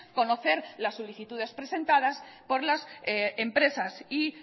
conocer las solicitudes presentadas por las empresas y